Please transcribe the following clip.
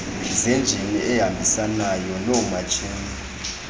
zenjini ehambisanayo noomatshini